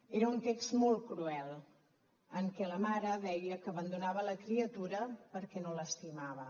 era un text molt cruel en què la mare deia que abandonava la criatura perquè no l’estimava